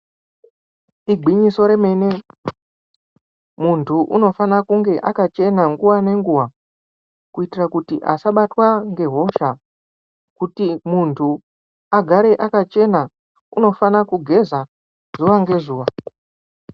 Igwinyiso remene muntu unofana kunge akachena nguwa nenguwa kuitira kuti asabatwa ngehosha kuti muntu agare akachena unofana kugeza zuwa ngezuwa